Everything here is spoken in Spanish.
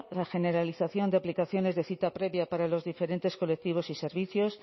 la generalización de aplicaciones de cita previa para los diferentes colectivos y servicios